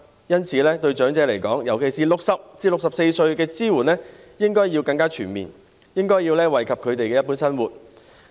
因此，對長者，尤其是對60歲至64歲長者的支援，應該更全面，以惠及他們的一般生活。